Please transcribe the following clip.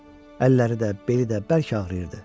Əlləri də, beli də bərk ağrıyırdı.